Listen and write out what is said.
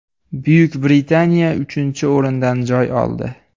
Buyuk Britaniya uchinchi o‘rindan joy oldi.